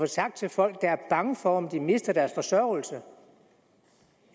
sagt til folk der er bange for om de mister deres forsørgelse